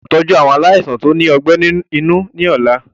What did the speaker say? Ẹ gbọ́dọ̀ tọ́jú àwọn aláìsàn tó ní ọgbẹ́ inú ni ọ̀la.